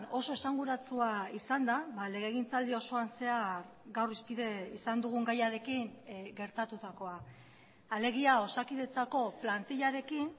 oso esanguratsua izan da legegintzaldi osoan zehar gaur hizpide izan dugun gaiarekin gertatutakoa alegia osakidetzako plantilarekin